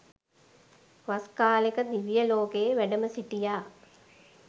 වස් කාලෙක දිවිය ලෝකයේ වැඩම සිටියා